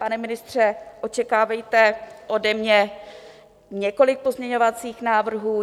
Pane ministře, očekávejte ode mě několik pozměňovacích návrhů.